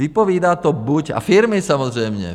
Vypovídá to buď... a firmy samozřejmě.